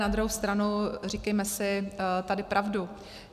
Na druhou stranu, říkejme si tady pravdu.